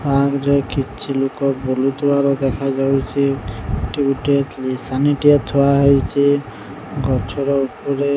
park ରେ କିଛି ଲୁକ ବୁଲୁ ଥୁବାର ଦେଖାଯାଉଚି ଏଠି ଗୁଟେ କ୍ରିଶାନୀ ଟିଏ ଥୁଆ ହେଇଚି ଗଛ ର ଉପରେ --